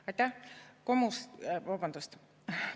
Aitäh!